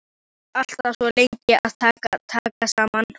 Maður er alltaf svo lengi að taka saman.